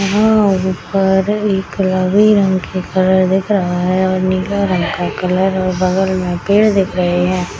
और ऊपर एक लरी रंग के कलर दिख रहा है और नीला रंग का कलर और बगल मे पेड़ दिख रहे है।